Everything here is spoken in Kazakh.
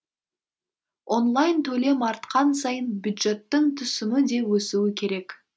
онлайн төлем артқан сайын бюджеттің түсімі де өсуі керек